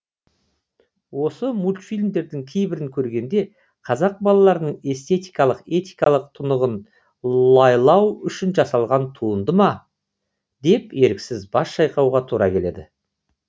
осы мультфильмдердің кейбірін көргенде қазақ балаларының эстетикалық этикалық тұнығын лайлау үшін жасалған туынды ма деп еріксіз бас шайқауға тура келеді